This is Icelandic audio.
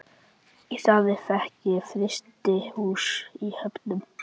Í staðinn fékk ég frystihús í Höfnum.